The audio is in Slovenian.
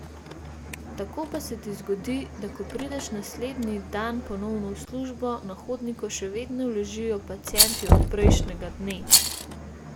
Tako pa se ti zgodi, da ko prideš naslednji dan ponovno v službo, na hodniku še vedno ležijo pacienti od prejšnjega dne!